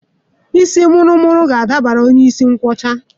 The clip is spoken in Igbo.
Isii muru muru ga-adabara onye isi nkwọcha